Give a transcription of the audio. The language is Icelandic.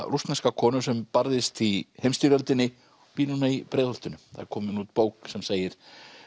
rússneska konu sem barðist í heimsstyrjöldinni og býr núna í Breiðholtinu það er komin út bók sem segir